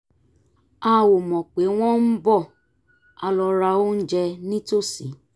a ò mọ̀ pé wọ́n ń bọ̀ a lọ ra oúnjẹ nítòsí